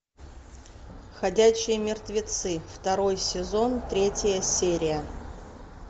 ходячие мертвецы второй сезон третья серия